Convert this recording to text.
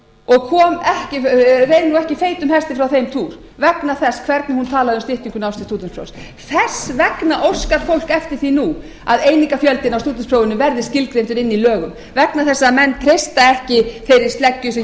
og reið nú ekki feitum hesti frá þeim túr vegna þess hvernig hún talaði um styttingu náms til stúdentsprófs þess vegna óskar fólk eftir því nú að einingafjöldinn á stúdentsprófinu verði skilgreindur inni í lögum vegna þess að menn treysta ekki þeirri sleggju sem